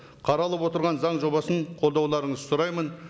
қаралып отырған заң жобасын қолдауларыңызды сұраймын